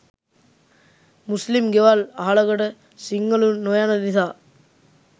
මුස්ලිම් ගෙවල් අහලකට සිංහලුන් නොයන නිසා